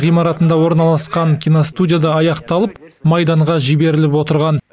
ғимаратында орналасқан киностудияда аяқталып майданға жіберіліп отырған